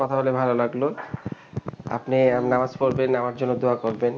কথা বলে ভাল লাগলো আপনি নামাজ পড়বেন আমার জন্য দোয়া করবেন